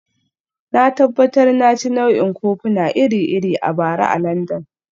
Na tabbatar na ci nau'ikan kofuna iri-iri a bara a Landan